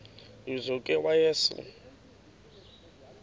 lizo ke wayesel